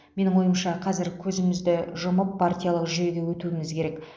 менің ойымша қазір көзімізді жұмып партиялық жүйеге өтуіміз керек